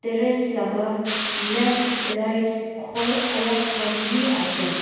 terrace laga left right ghor alag khan bi ashe.